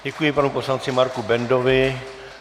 Děkuji panu poslanci Marku Bendovi.